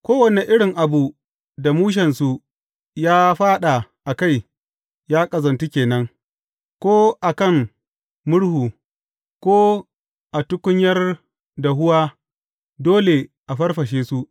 Kowane irin abu da mushensu ya fāɗa a kai ya ƙazantu ke nan; ko a kan murhu, ko a tukunyar dahuwa, dole a farfashe su.